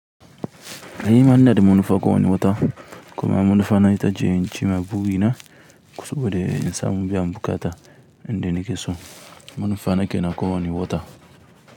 Eh nima inada manufa kowanne wata kuma munufana ita ce in cimma burina, kosaɓe da insa mubiyan buƙata inda nikeso manufa na kenan kowanne wata.